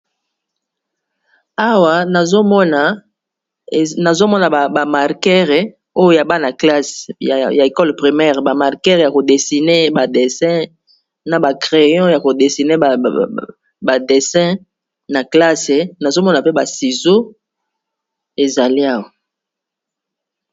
Awa nazomona bamarkere oyo ya bana-classe ya ecole primere bamarkere ya kodesine ba dessin na ba crayon ya kodesine ba dessin na classe nazomona mpe basizo ezali awa